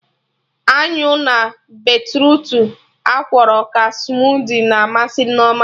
Anyụ na beetrutu akwọrọ ka smudi na amasị Nneoma